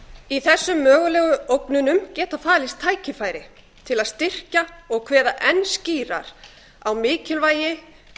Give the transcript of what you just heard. í þessum mögulegu ógnunum geta falist tækifæri til að styrkja og kveða enn skýrar á mikilvægi